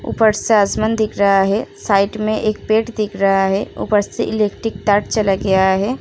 ऊपर से आसमान दिख रहा है। साइड में एक पेड़ दिख रहा है। ऊपर से इलेक्ट्रिक तार चला आया है।